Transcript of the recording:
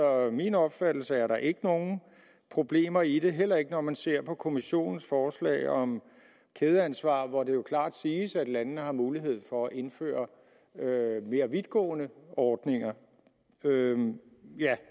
min opfattelse er der ikke nogen problemer i det heller ikke når man ser på kommissionens forslag om kædeansvar hvor det jo klart siges at landene har mulighed for at indføre mere vidtgående ordninger ja